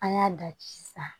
An y'a da sisan